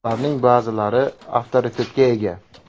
Ularning ba’zilari avtoritetga ega.